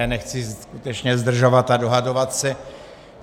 Já nechci skutečně zdržovat a dohadovat se.